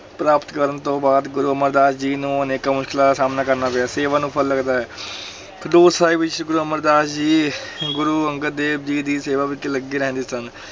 ਪ੍ਰਾਪਤ ਕਰਨ ਤੋਂ ਬਾਅਦ ਗੁਰੂ ਅਮਰਦਾਸ ਜੀ ਨੂੰ ਅਨੇਕਾਂ ਮੁਸ਼ਕਲਾਂ ਦਾ ਸਾਹਮਣਾ ਕਰਨਾ ਪਿਆ, ਸੇਵਾ ਨੂੰ ਫਲ ਲਗਦਾ ਹੈ ਖਡੂਰ ਸਾਹਿਬ ਵਿੱਚ ਸ੍ਰੀ ਗੁਰੂ ਅਮਰਦਾਸ ਜੀ ਗੁਰੂ ਅੰਗਦ ਦੇਵ ਜੀ ਦੀ ਸੇਵਾ ਵਿੱਚ ਲੱਗੇ ਰਹਿੰਦੇ ਸਨ।